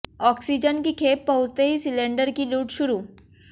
oxygen की खेप पहुंचते ही सिलेंडर की लूट शुरू